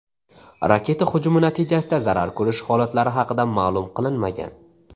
Raketa hujumi natijasida zarar ko‘rish holatlari haqida ma’lum qilinmagan.